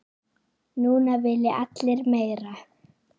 Núna vilja allir meira.